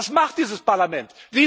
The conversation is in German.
Was macht dieses Parlament?